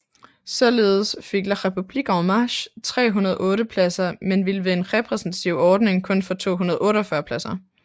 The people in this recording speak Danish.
Således fik La République En Marche 308 pladser men ville ved en repræsentativ ordning kun få 248 pladser